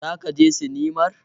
Zaka je sinimar?